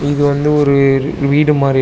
இது வந்து ஒரு ரு வீடு மாரி இரு--